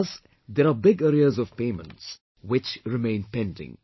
Thus there are big arrears of payments, which remain pending